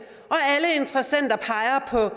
og